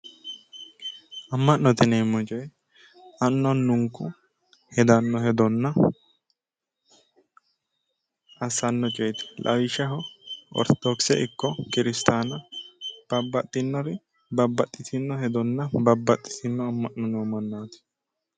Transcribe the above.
Amma'note yineemmo coyi annu annunku hedanno hedonna assanno coyeeti lawishshaho ortodokise ikko kiristaana babbaxxinnori babbaxxitinno hedonna kiristinnu amma'no noo mannaati.